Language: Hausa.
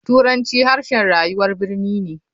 Turanci harshen rayuwar birni ne.